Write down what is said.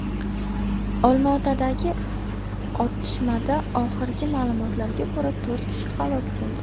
Olmaotadagi otishmada, oxirgi ma’lumotlarga ko‘ra, to‘rt kishi halok bo‘ldi .